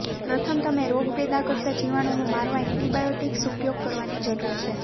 પ્રથમ તમે રોગ પેદા કરતા જીવાણુનું મારવા એન્ટીબાયોટીક્સ ઉપયોગ કરવાની જરૂર છે